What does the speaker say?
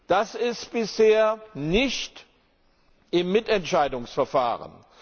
Das ist bisher nicht im Mitentscheidungsverfahren.